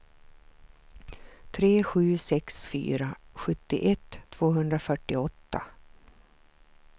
tre sju sex fyra sjuttioett tvåhundrafyrtioåtta